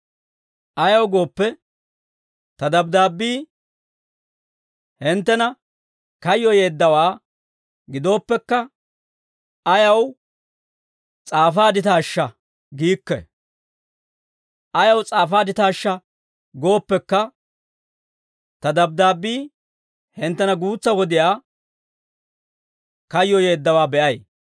Ayaw gooppe, ta dabddaabbii hinttena kayyoyeeddawaa gidooppekka, ayaw s'aafaadditaashsha giikke; ayaw s'aafaadditaashsha gooppekka, ta dabddaabbii hinttena guutsaa wodiyaa kayyoyeeddawaa be'ay.